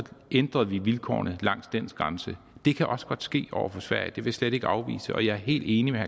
ændrede vi vilkårene langs den grænse det kan også godt ske over for sverige det vil jeg slet ikke afvise og jeg er helt enig med